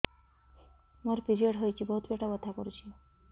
ମୋର ପିରିଅଡ଼ ହୋଇଛି ବହୁତ ପେଟ ବଥା କରୁଛି